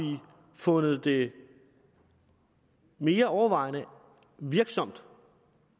fundet det mere overvejende virksomt